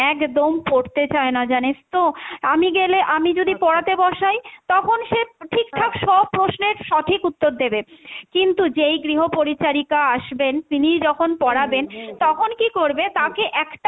একদম পড়তে চাইনা জানিস তো। আমি গেলে আমি যদি পড়াতে বসায় তখন সে ঠিকঠাক সব প্রশ্নের সঠিক উত্তর দেবে কিন্তু যেই গৃহ পরিচারিকা আসবেন তিনিই যখন পড়াবেন তখন কী করবে, তাকে একটা,